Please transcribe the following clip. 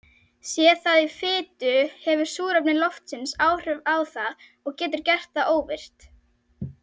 Sé það í fitu hefur súrefni loftsins áhrif á það og getur gert það óvirkt.